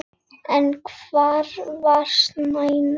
En hvar var Stína?